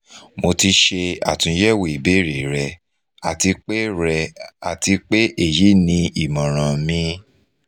mo ti ṣe atunyẹwo ibeere rẹ ati pe rẹ ati pe eyi ni imọran mi